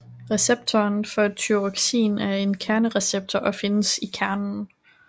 Receptoren for Thyroxin er en kernereceptor og findes i kernen